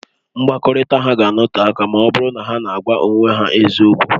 Mkpakọrịta ha ga-anọte aka ọ bụrụ na ha na-agwa onwe ha eziokwu